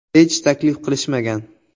Hech taklif qilishmagan.